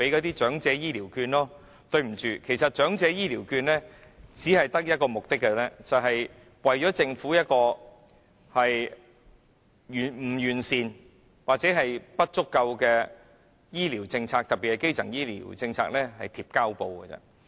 但是，對不起，其實長者醫療券只有一個目的，便是為政府不完善或不足夠的醫療政策——特別是基層醫療政策——"貼膠布"而已。